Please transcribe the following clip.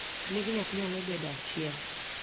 nying nyathi nyalo bedo achiel